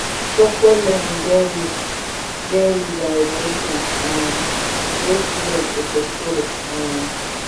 structured learning get rules get rules and regulations um wey students suppose follow um